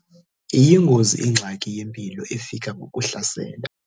Iyingozi ingxaki yempilo efika ngokuhlasela.